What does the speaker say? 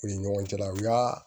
U ni ɲɔgɔn cɛla la u y'a